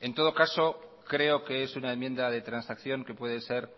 en todo caso creo que es una enmienda de transacción que puede ser